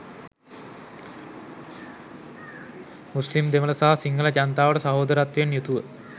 මුස්ලීම් දෙමළ සහ සිංහල ජනතාවට සහෝදරත්වයෙන් යුතුව